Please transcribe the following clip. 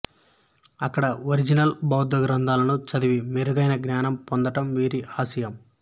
అక్కడ ఒరిజినల్ బౌద్ధ గ్రంథాలను చదివి మెరుగైన జ్ఞానం పొందడం వీరి ఆశయం